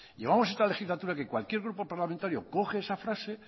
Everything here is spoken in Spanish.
llevamos esta legislatura que cualquier grupo parlamentario coge esa frase